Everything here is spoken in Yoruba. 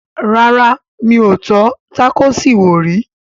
Rárá mi ò tọ́ tákòòsì wò rí